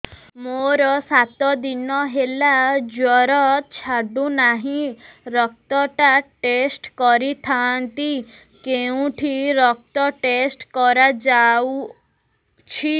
ମୋରୋ ସାତ ଦିନ ହେଲା ଜ୍ଵର ଛାଡୁନାହିଁ ରକ୍ତ ଟା ଟେଷ୍ଟ କରିଥାନ୍ତି କେଉଁଠି ରକ୍ତ ଟେଷ୍ଟ କରା ଯାଉଛି